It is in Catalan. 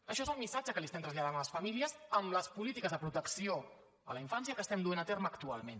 això és el missatge que estem traslladant a les famílies amb les polítiques de protecció a la infància que estem duent a terme actualment